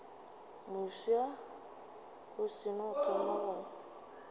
mofsa o seno thoma go